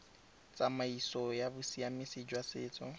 tsamaiso ya bosiamisi jwa setso